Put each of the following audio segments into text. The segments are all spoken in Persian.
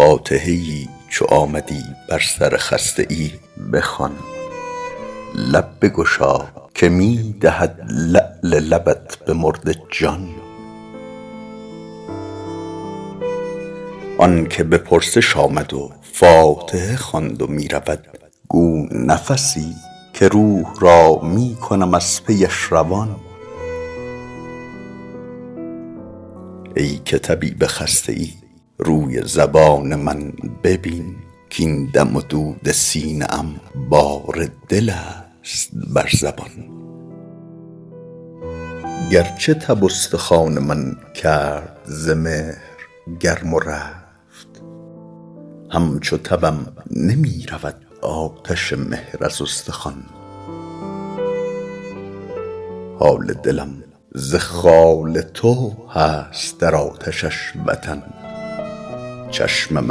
فاتحه ای چو آمدی بر سر خسته ای بخوان لب بگشا که می دهد لعل لبت به مرده جان آن که به پرسش آمد و فاتحه خواند و می رود گو نفسی که روح را می کنم از پیش روان ای که طبیب خسته ای روی زبان من ببین کـاین دم و دود سینه ام بار دل است بر زبان گرچه تب استخوان من کرد ز مهر گرم و رفت همچو تبم نمی رود آتش مهر از استخوان حال دلم ز خال تو هست در آتشش وطن چشمم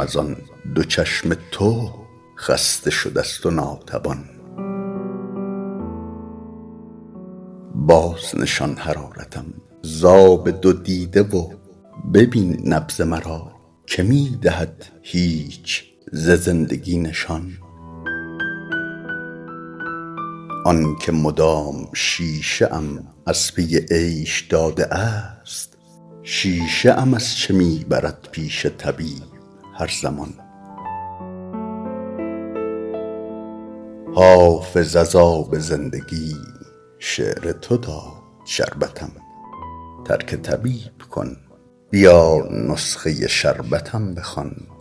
از آن دو چشم تو خسته شده ست و ناتوان بازنشان حرارتم ز آب دو دیده و ببین نبض مرا که می دهد هیچ ز زندگی نشان آن که مدام شیشه ام از پی عیش داده است شیشه ام از چه می برد پیش طبیب هر زمان حافظ از آب زندگی شعر تو داد شربتم ترک طبیب کن بیا نسخه شربتم بخوان